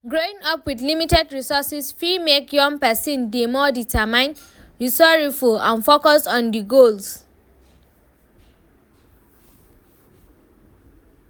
Growing up with limited resources fi make young pesin dey more determined, resoureful and focused on di goals.